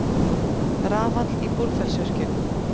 Jón Ólafur greip í Penélope og dró hana á eftir sér.